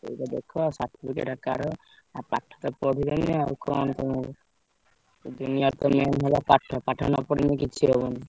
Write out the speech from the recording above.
ଏଇତ କଥା certificate ଦରକାର। ଆଉ ପାଠତ ପଢିଲନି ଆଉ କଣ ତମେ ଏ ଦୁନିଆରେ ତ main ହେଲା ପାଠ। ପାଠ ନପଢିଲେ କିଛି ହବନି।